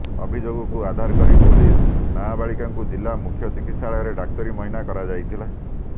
ଅଭିଯୋଗକୁ ଆଧାର କରି ପୋଲିସ୍ ନାବାଳିକାଙ୍କୁ ଜିଲ୍ଲା ମୁଖ୍ୟ ଚିକିତ୍ସାଳୟରେ ଡାକ୍ତରୀ ମାଇନା କରାଯାଇଥିଲା